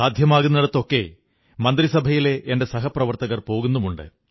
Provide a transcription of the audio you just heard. സാധിക്കുന്നിടത്തൊക്കെ മന്ത്രിസഭയിലെ എന്റെ സഹപ്രവർത്തകർ പോകുന്നുമുണ്ട്